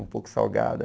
Um pouco salgada.